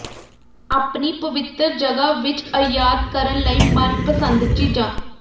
ਆਪਣੀ ਪਵਿੱਤਰ ਜਗ੍ਹਾ ਵਿੱਚ ਅਯਾਤ ਕਰਨ ਲਈ ਮਨਪਸੰਦ ਚੀਜ਼ਾਂ